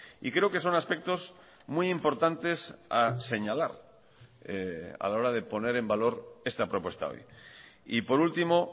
y creo que son aspectos muy importantes a señalar a la hora de poner en valor esta propuesta hoy y por último